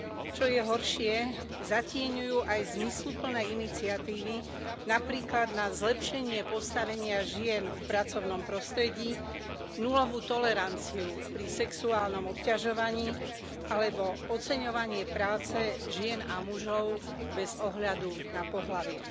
Čo je horšie, zatieňujú aj zmysluplné iniciatívy, napríklad na zlepšenie postavenia žien v pracovnom prostredí, nulovú toleranciu pri sexuálnom obťažovaní alebo oceňovanie práce žien a mužov bez ohľadu na pohlavie.